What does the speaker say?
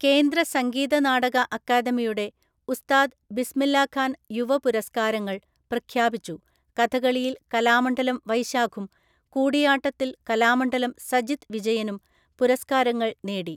കേന്ദ്ര സംഗീത നാടകഅക്കാദമിയുടെ ഉസ്താദ് ബിസ്മില്ലാഖാന്‍ യുവ പുരസ്ക്കാരങ്ങള്‍ പ്രഖ്യാപിച്ചു കഥകളിയില്‍ കലാമണ്ഡലംവൈശാഖും, കൂടിയാട്ടത്തില്‍ കലാമണ്ഡലംസജിത്ത് വിജയനും പുരസ്ക്കാരങ്ങള്‍ നേടി